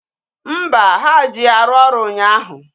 Mba, ha ji ya rụọ ọrụ ụnyaahụ